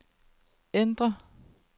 ændr